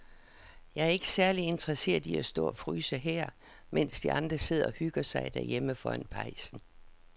Jeg er ikke særlig interesseret i at stå og fryse her, mens de andre sidder og hygger sig derhjemme foran pejsen.